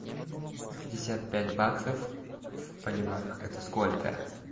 пятьдесят пять баксов в боливарах это сколько